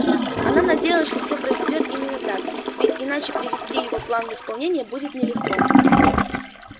она надеялась что всё произойдёт именно так ведь иначе привести его план в исполнение будет нелегко